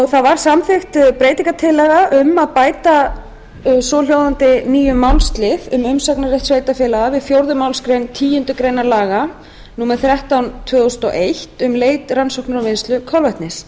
það var samþykkt breytingartillaga um að bæta svohljóðandi nýjum málslið um umsagnarrétt sveitarfélaga við fjórðu málsgreinar tíundu grein laga númer þrettán tvö þúsund og eitt um leit rannsóknir og vinnslu kolvetnis